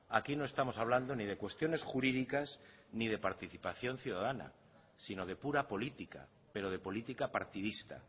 aquí no estamos hablando ni de cuestiones jurídicas ni de participación ciudadana sino de pura política pero de política partidista